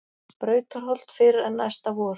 Brautarholt fyrr en næsta vor.